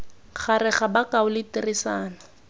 gare ga bokao le tiriso